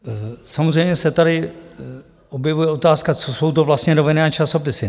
Samozřejmě se tady objevuje otázka, co jsou to vlastně noviny a časopisy.